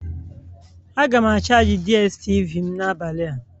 Aga m charji DSTV m n'abalị a